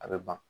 A bɛ ban